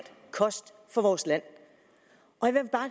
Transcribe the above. kost for vores land